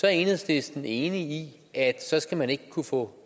er enhedslisten enig i at så skal man ikke kunne få